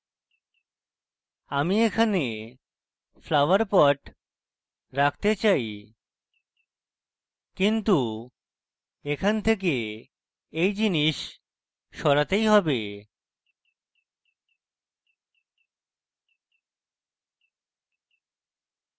আমি এখানে flower pot রাখতে চাই কিন্তু এখান থেকে এই জিনিস সরাতেই হবে